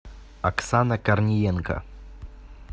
оксана корниенко